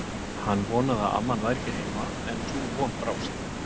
Hann vonaði að amman væri ekki heima, en sú von brást.